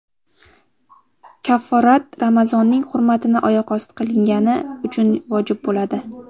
Kafforat Ramazonning hurmatini oyoqosti qilingani uchun vojib bo‘ladi.